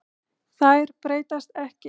Þær breytast ekki.